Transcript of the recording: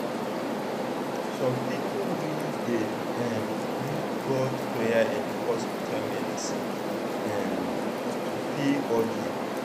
some people really dey um use both prayer and hospital medicine um to feel okay.